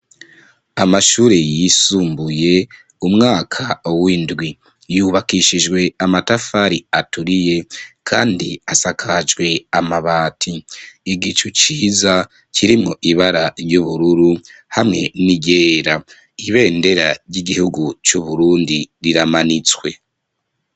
Amashuri yisumbuye umwaka windwi, yubakishijwe amatafari aturiye kandi asakajwe amabati, igicu ciza kirimwo ibara ryuburu hamwe n'iryera, ibendera ryigihugu c'uburundi riramanitswe.